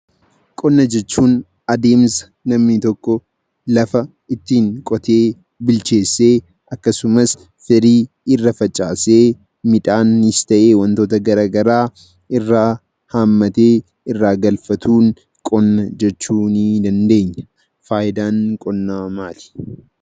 Qonna jechuun; adeemsa namni tokko lafa ittin qootee bilcheesse akkasumas, firii irraa facaase midhannis ta'e wantoota garagaraa irraa haammattee irraa galfatuun qonna jechuu ni dandeenya. Faayidaan qonna maali?